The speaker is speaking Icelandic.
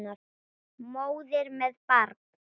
Móðir með barn.